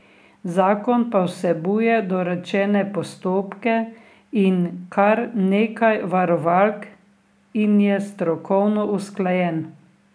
Zakon pa vsebuje dorečene postopke in kar nekaj varovalk in je strokovno usklajen.